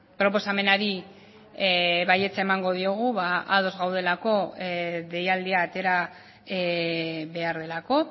proposamenari baietza emango diogu ados gaudelako deialdia atera behar delako